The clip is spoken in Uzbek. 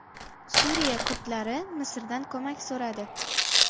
Suriya kurdlari Misrdan ko‘mak so‘radi.